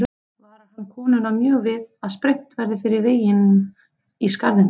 Varar hann konuna mjög við að sprengt verði fyrir veginum í skarðinu.